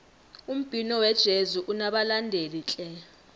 umbhino wejezi unabalandeli tle